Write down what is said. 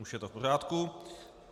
Už je to v pořádku.